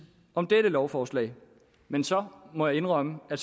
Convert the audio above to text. om også dette lovforslag men så må jeg indrømme at